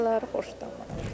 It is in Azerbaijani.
Başqaları xoşdamaz.